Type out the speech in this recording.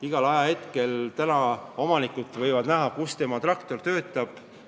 Igal ajahetkel võib omanik näha, kus tema traktor töötab.